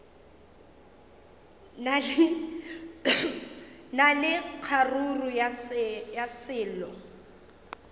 na le kgaruru ya selo